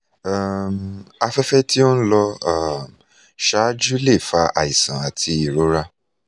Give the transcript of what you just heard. um afẹ́fẹ̀ tí ó ń lọ um síwájú lè fa àìsàn àti ìrora